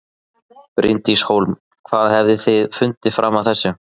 Bryndís Hólm: Hvað hafið þið fundið fram að þessu?